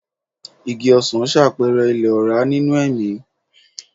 Igi ọsan ṣàpẹẹrẹ ilẹ̀ ọ̀rá nínú ẹ̀mí.